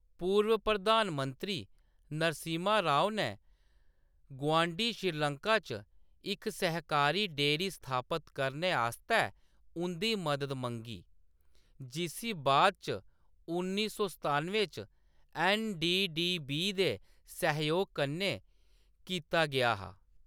पूर्व प्रधान मंत्री नरसिम्हा राव ने गुआंढी श्रीलंका च इक सहकारी डेअरी स्थापत करने आस्तै उंʼदी मदद मंगी, जिसी बाद इच उन्नी सौ सतानुएं च एन.डी.डी.बी. दे सैहयोग कन्नै कीता गेआ हा।